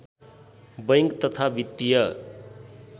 bank तथा वित्तीय